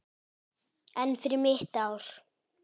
En fyrir mitt ár?